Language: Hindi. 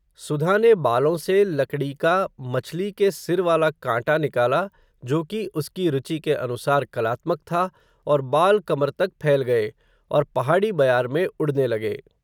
सुधा ने बालों से, लकड़ी का, मछली के सिर वाला कांटा निकाला, जो कि, उसकी रुचि के अनुसार, कलात्मक था, और बाल कमर तक फैल गए, और पहाड़ी बयार में, उड़ने लगे